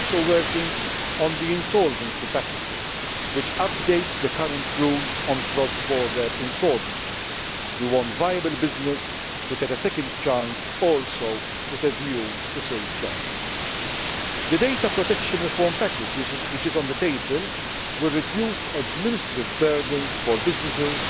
State. We are also working on the insolvency package, which updates the current rules on cross border insolvencies. We want viable business to get a second chance, also with a view to saving jobs. The data protection reform package which is on the table will reduce administrative burdens for